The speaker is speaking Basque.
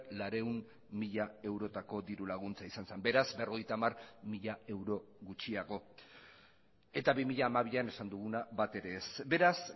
laurehun mila eurotako dirulaguntza izan zen beraz berrogeita hamar mila euro gutxiago eta bi mila hamabian esan duguna bat ere ez beraz